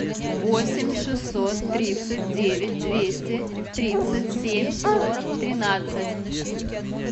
восемь шестьсот тридцать девять двести тридцать семь сорок тринадцать